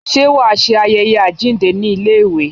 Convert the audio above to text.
Ṣé wàá ṣe ayẹyẹ àjíǹde ní iléèwé?